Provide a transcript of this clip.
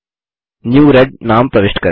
new red नाम प्रविष्ट करें